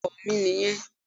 Bẹ́ẹ̀ni ọkò mi nì yen